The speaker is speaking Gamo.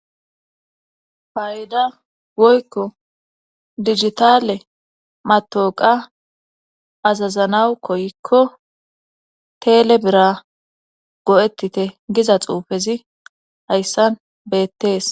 Payida woykko digitale matooqa azazanawu koykko teele bira go'ettite giza xuufezi hayssan beettees.